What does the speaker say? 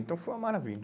Então foi uma maravilha.